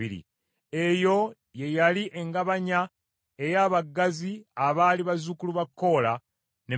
Eyo ye yali engabanya ey’abagazi abaali bazzukulu ba Kola ne Merali.